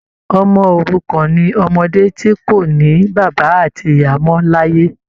Ọmọ òrukàn ni ọmọdé ti kò ní bàbá àti ìyá mọ l'ayé.